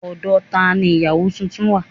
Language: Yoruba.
Ọ̀dọ̀ tani ìyáwo tuntun wà